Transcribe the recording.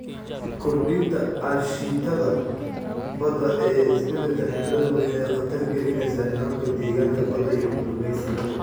Kordhinta aashitada badda ee isbeddelka cimiladu waxay khatar gelinaysaa nidaamka deegaanka badda iyo kalluumaysiga.